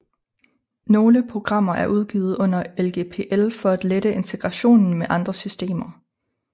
Nogle programmer er udgivet under LGPL for at lette integrationen med andre systemer